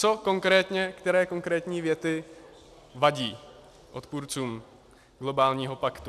Co konkrétně, které konkrétní věty vadí odpůrcům globálního paktu?